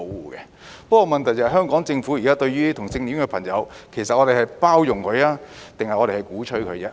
不過，問題是香港政府現時對於同性戀的朋友，其實是包容他們，還是鼓吹他們呢？